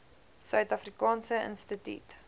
suid afrikaanse instituut